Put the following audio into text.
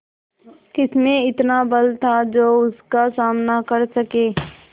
किसमें इतना बल था जो उसका सामना कर सके